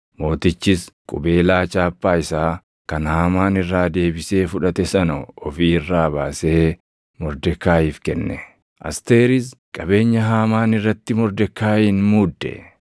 Mootichis qubeelaa chaappaa isaa kan Haamaan irraa deebisee fudhate sana ofi irraa baasee Mordekaayiif kenne. Asteeris qabeenya Haamaan irratti Mordekaayiin muudde.